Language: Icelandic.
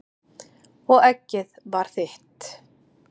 Og eggið var þitt!